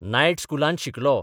Night स्कुलांत शिकलो.